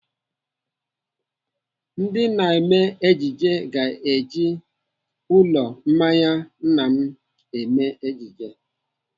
Ndị na-eme ejije ga-eji ụlọ mmanya nna m eme ejije.